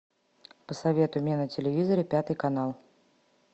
посоветуй мне на телевизоре пятый канал